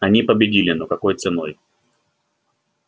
они победили но какой ценой